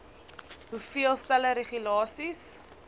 hoeveel stelle regulasies